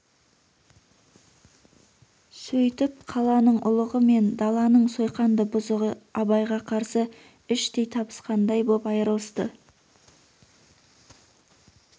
сөйтіп қаланың ұлығы мен даланың сойқанды бұзығы абайға қарсы іштей табысқандай боп айырылысты